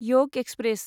योग एक्सप्रेस